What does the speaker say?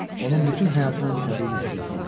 Onun bütün həyatının təbii nəticəsi idi.